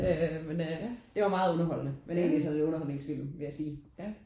Øh men øh det var meget underholdende men egentlig så er det jo en underholdningsfilm ville jeg sige